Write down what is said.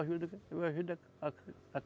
Ajudo que, eu ajudo a